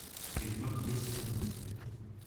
ведьмак весь сезон